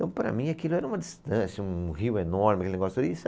Então, para mim, aquilo era uma distância, um rio enorme aquele negócio e.